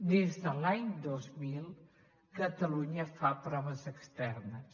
des de l’any dos mil catalunya fa proves externes